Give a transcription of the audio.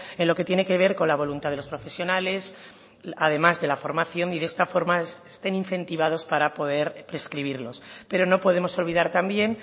en lo que tiene que ver con la voluntad de los profesionales además de la formación y de esta forma estén incentivados para poder prescribirlos pero no podemos olvidar también